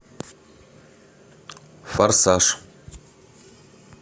форсаж